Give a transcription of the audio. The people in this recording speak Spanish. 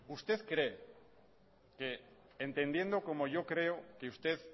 usted cree que entendiendo como yo creo que usted